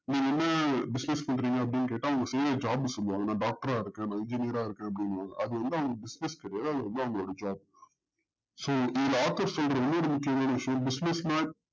நீங்க என்னன்னா business பண்றிங்க அப்டின்னு கேட்ட அவங்க செய்ற job சொல்லுவாங்க நா doctor ஆ இருக்கேன் engineer ஆ இருக்கேன் அப்டின்னுவாங்க அது வந்து அவங்க business கெடையாது அது வந்து அவங்களோ job so business not